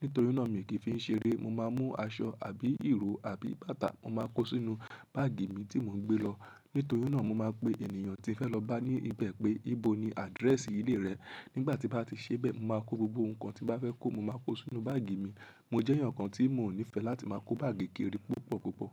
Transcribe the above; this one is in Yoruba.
Nítorí náà mi kì í fi ń ṣeré. Mo máa mú aṣọ àbí ìró àbí bàtà, mo máa kó sínú báàgì mi tí mo ń gbé lọ. Nítorí náà mo máa pe ènìyàn tí ń fẹ́ lọ bá ní ibẹ̀ pé ìbò ni àdírẹ́ẹ̀sì ilé rẹ̀. Nígbà tí bá ti ṣe bẹ́ẹ̀, mo máa kó gbogbo nnkan tí bá fẹ́ kó, mo máa kó sínú báàgì mi. Mo jẹ́ èèyàn kan tí mò nífẹ́ láti máa kó báàgì kiri púpọ̀ púpọ̀.